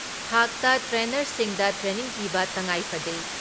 ꯊꯥꯛꯇ ꯇ꯭ꯔꯦꯅꯔꯁꯤꯡꯗ ꯇ꯭ꯔꯦꯅꯤꯡ ꯄꯤꯕ ꯇꯉꯥꯏꯐꯗꯦ ꯫